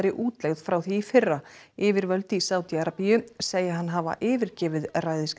útlegð frá því í fyrra yfirvöld í Sádi Arabíu segja hann hafa yfirgefið